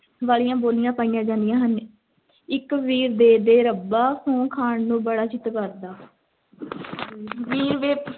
ਵਾਲੀਆਂ ਬੋਲੀਆਂ ਪਾਈਆਂ ਜਾਂਦੀਆਂ ਹਨ, ਇੱਕ ਵੀਰ ਦੇ ਦੇ ਰੱਬਾ, ਸਹੁੰ ਖਾਣ ਨੂੰ ਬੜਾ ਚਿੱਤ ਕਰਦਾ ਵੀਰ ਵੇ,